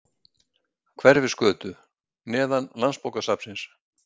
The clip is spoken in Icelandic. Hverfisgötu, neðan landsbókasafnsins.